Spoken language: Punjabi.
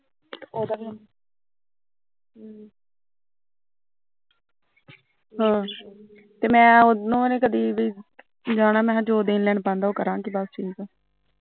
ਹਾਂ ਤੇ ਮੈਂ ਉਹਨੂੰ ਵੀ ਕਦੀ ਵੀ ਜਾਣਾ ਜੋ ਲੈਣ ਦੇਣ ਬਣਦਾ ਉਹ ਕਰਾਗੇ ਬਸ ਠੀਕੇ